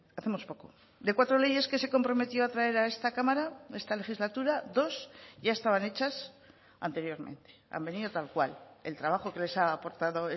hacemos poco de cuatro leyes que se comprometió a traer a esta cámara esta legislatura dos ya estaban hechas anteriormente han venido tal cual el trabajo que les ha aportado